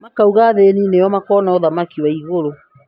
makauga athĩni nĩo makona ũthamaki wa igũrũ